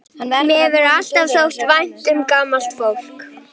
Mér hefur alltaf þótt vænt um gamalt fólk.